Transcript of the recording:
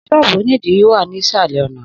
Sọ́ọ́bú onidiri wa ni isalẹ ọna.